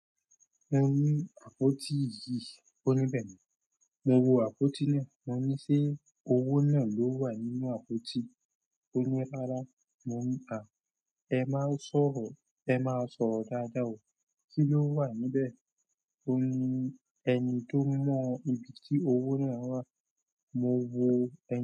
Mo ní àpótí yìí, ó níbẹ̀ ni. Mo wo àpótí náà, mo ní ṣé owó náà ló wà nínú àpótí? Ó ní rárá. Mo ní à, ẹ má sọ̀rọ̀, ẹ má sọ̀rọ̀ dáadáa o. Kí ló wà níbẹ̀? Ó ní ẹni tó mọ ibi tí owó náà wà, mo wo ẹni.